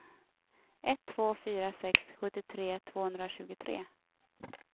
ett två fyra sex sjuttiotre tvåhundratjugotre